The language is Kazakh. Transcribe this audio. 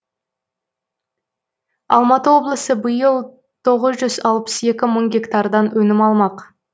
алматы облысы биыл тоғыз жүз алпыс екі мың гектардан өнім алмақ